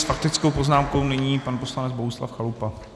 S faktickou poznámkou nyní pan poslanec Bohuslav Chalupa.